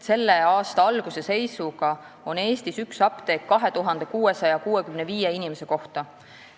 Selle aasta alguse seisuga on Eestis üks apteek 2665 inimese kohta.